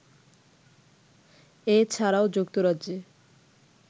এছাড়াও যুক্তরাজ্যে